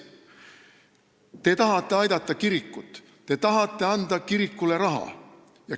Te tahate aidata kirikut, te tahate anda kirikule raha.